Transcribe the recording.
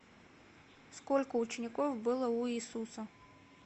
сколько учеников было у иисуса